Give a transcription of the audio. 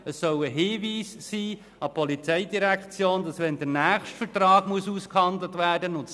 Es soll ein Hinweis an die POM sein, dass, wenn der nächste Vertrag ausgehandelt werden muss.